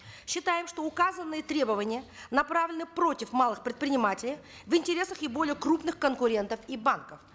считаем что указанные требования направлены против малых предпринимателей в интересах их более крупных конкурентов и банков